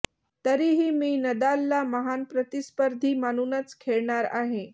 तरीही मी नदालला महान प्रतिस्पर्धी मानूनच खेळणार आहे